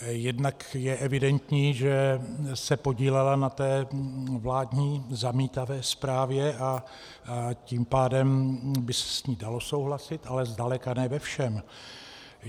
Jednak je evidentní, že se podílela na té vládní zamítavé zprávě, a tím pádem by se s ní dalo souhlasit, ale zdaleka ne ve všem.